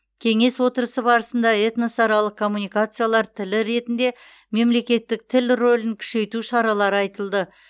кеңес отырысы барысында этносаралық коммуникациялар тілі ретінде мемлекеттік тіл рөлін күшейту шаралары айтылды